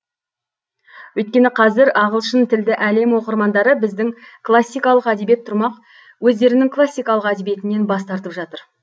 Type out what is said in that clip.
өйткені қазір ағылшынтілді әлем оқырмандары біздің классикалық әдебиет тұрмақ өздерінің классикалық әдебиетінен бас тартып жатыр